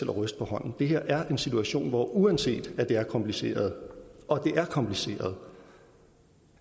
ryster på hånden det her er en situation hvor vi uanset at det er kompliceret og det er kompliceret